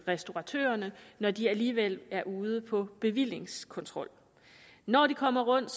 restauratørerne når de alligevel er ude på bevillingskontrol når de kommer rundt